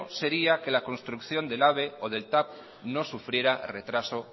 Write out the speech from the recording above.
sería que la construcción del ave o del tav no sufriera retraso